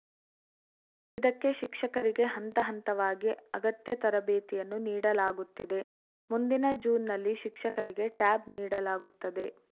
ಇದಕ್ಕೆ ಶಿಕ್ಷಕರಿಗೆ ಹಂತಹಂತವಾಗಿ ಅಗತ್ಯ ತರಬೇತಿಯನ್ನೂ ನೀಡಲಾಗುತ್ತಿದೆ ಮುಂದಿನ ಜೂನ್‌ನಲ್ಲಿ ಶಿಕ್ಷಕರಿಗೆ ಟ್ಯಾಬ್‌ ನೀಡಲಾಗುತ್ತದೆ